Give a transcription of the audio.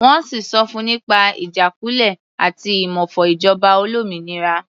Wọ́n sì sọ fun nípa ìjákulẹ̀ àti ìmófo ìjọba olómìnira.